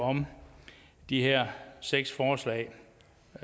om de her seks forslag